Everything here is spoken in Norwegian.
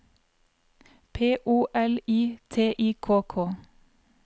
P O L I T I K K